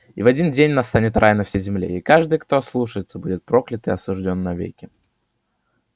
и в один день настанет рай на всей земле и каждый кто ослушается будет проклят и осуждён навеки